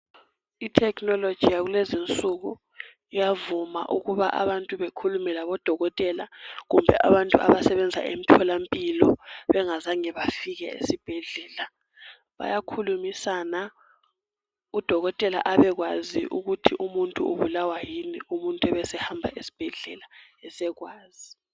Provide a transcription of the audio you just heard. I technology yakulezi nsuku iyavuma ukuba abantu bekhulume labo dokotela . Kumbe abantu abasebenza emtholampilo bengazange bafike esibhedlela .Bayakhulumisana udokotela abekwazi ukuthi umuntu ubulawa yini umuntu ebesehamba esbhedlela esekwazi .